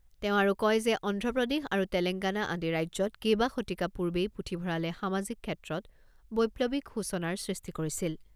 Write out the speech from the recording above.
তেওঁ আৰু কয় যে অন্ধ্ৰপ্ৰদেশ আৰু তেলেংগানা আদি ৰাজ্যত কেইবাশতিকা পূৰ্বেই পুথিভঁৰালে সামাজিক ক্ষেত্ৰত বৈপ্লৱিক সূচনাৰ সৃষ্টি কৰিছিল।